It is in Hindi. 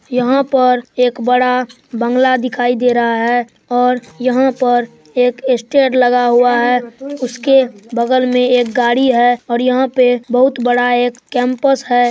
यहाँ पर एक बड़ा बंगला दिखाई दे रहा है और यहाँ पर एक स्टेज लगा हुआ है उसके बगल मे एक गाड़ी है और यहाँ पर बहुत बड़ा एक कैम्पस है।